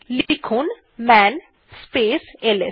লেখা যাক মান স্পেস এলএস